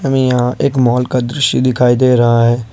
में यहां एक मॉल का दृश्य दिखाई दे रहा है।